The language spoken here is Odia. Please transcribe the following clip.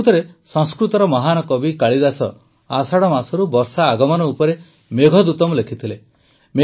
ପ୍ରକୃତରେ ସଂସ୍କୃତର ମହାନ କବି କାଳିଦାସ ଆଷାଢ଼ ମାସରୁ ବର୍ଷା ଆଗମନ ଉପରେ ମେଘଦୂତମ୍ ଲେଖିଥିଲେ